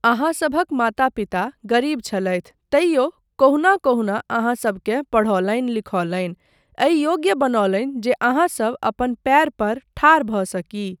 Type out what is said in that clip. अहाँसभक माता पिता गरीब छलथि तैयो केहुना केहुना अहाँसबकेँ पढ़ौलनि लिखौलनि, एहि योग्य बनौलनि जे अहाँसब अपन पयर पर ठाढ़ भऽ सकी।